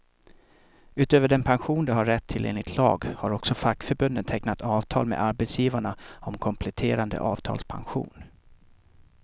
Utöver den pension du har rätt till enligt lag, har också fackförbunden tecknat avtal med arbetsgivarna om kompletterande avtalspension.